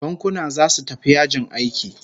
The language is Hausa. Bankuna zasu tafi yajin aiki